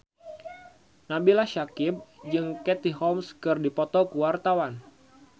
Nabila Syakieb jeung Katie Holmes keur dipoto ku wartawan